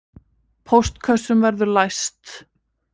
Póstkössum verður læst